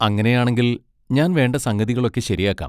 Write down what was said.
അങ്ങനെ ആണെങ്കിൽ ഞാൻ വേണ്ട സംഗതികളൊക്കെ ശരിയാക്കാം.